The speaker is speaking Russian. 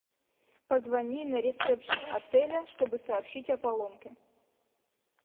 позвони на ресепшен отеля чтобы сообщить о поломке